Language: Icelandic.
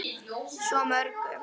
Svo mörgu.